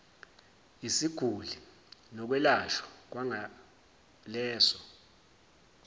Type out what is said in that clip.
yesiguli nokwelashwa kwangaleso